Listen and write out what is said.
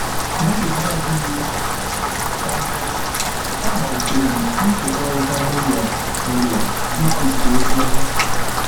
N’oge na -adịghị anya, amalitere m ịkekọrịta n’ụlọ - n’ụlọ ịkụziri ozi ọma.